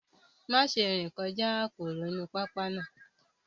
Má ṣe rìn kọjá aporo inú pápá náà